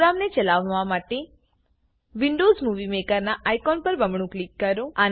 પ્રોગ્રામને ચલાવવા માટે વિન્ડોવ્ઝ મુવી મેકરનાં આઇકોન પર બમણું ક્લિક કરો